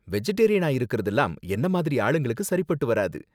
வெஜிடேரியனா இருக்கறதுலாம் என்ன மாதிரி ஆளுக்கு சரிபட்டு வராது.